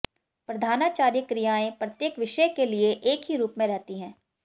प्रधानाचार्य क्रियाएं प्रत्येक विषय के लिए एक ही रूप में रहती हैं